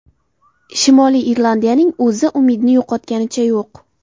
Shimoliy Irlandiyaning o‘zi umidni yo‘qotganicha yo‘q.